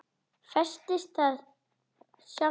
Festist þá sjálf í fortíð.